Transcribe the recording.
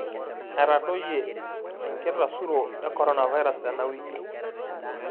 Etadoyie enkitasuro e koronavirus tena wiki